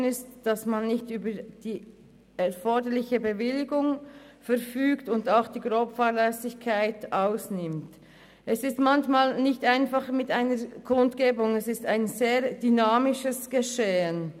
Es ist manchmal nicht einfach, bei einer Kundgebung den Überblick zu behalten, denn es handelt sich um ein sehr dynamisches Geschehen.